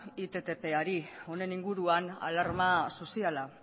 ittpari honen inguruan alarma soziala